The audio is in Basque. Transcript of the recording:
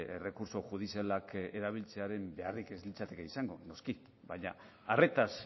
errekurtso judizialak erabiltzearen beharrik ez litzateke izango noski baina arretaz